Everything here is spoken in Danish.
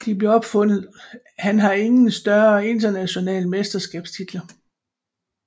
Han har ingen større internationale mesterskabs titler